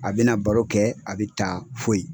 A bɛna baro kɛ, a bɛ taa foyi.